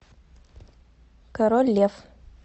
король лев